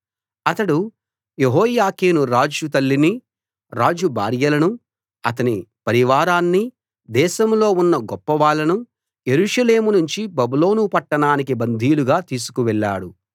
అతడు యెహోయాకీను రాజు తల్లిని రాజు భార్యలను అతని పరివారాన్ని దేశంలో ఉన్న గొప్పవాళ్ళను యెరూషలేము నుంచి బబులోను పట్టణానికి బందీలుగా తీసుకు వెళ్ళాడు